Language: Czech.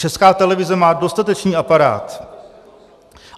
Česká televize má dostatečný aparát.